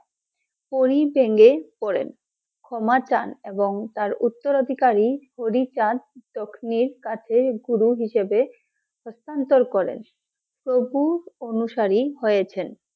পরি ভেঙ্গে পড়েন, ক্ষমা চান এবং তার উত্তরাধিকারী কাছে গুরু হিসেবে হস্তান্তর করেন । প্রভু অনুসারে হয়েছেন ।